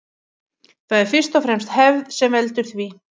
Það er fyrst og fremst hefð sem veldur því.